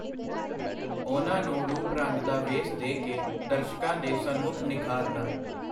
ਉਹਨਾਂ ਨੂੰ ਰੂਪ-ਰੰਗ ਦਾ ਵੇਸ ਦੇ ਕੇ ਦਰਸ਼ਕਾਂ ਦੇ ਸਨਮੁਖ ਨਿਖਾਰਨਾ.